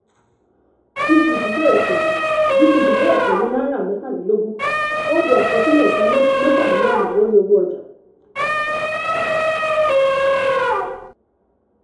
gtb bẹ̀rẹ̀ pẹ̀lú gtb bẹ̀rẹ̀ pẹ̀lú ₦23.00 àkọsílẹ̀ ìdá 33 percent lórí owó ọjà.